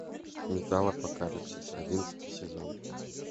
металлопокалипсис одиннадцатый сезон